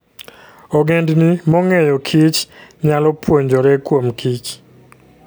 Ogendini mong'eyokich nyalo puonjore kuomkich.